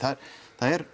það er